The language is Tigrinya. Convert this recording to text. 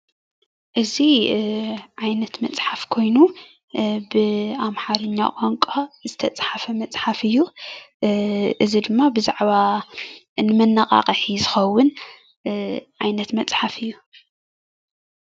እዚ ዓይነት መጽሓፍ ኮይኑ ብ ኣምሓርኛ ቋንቋ ዝተፃሓፈ መፅሓፍ እዩ እዚ ድማ ብዛዕባ እንመነቓቕሒ ዝኸውን ዓይነት መጽሓፍ እዩ።